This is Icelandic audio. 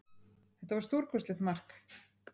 Þetta var stórkostlegt mark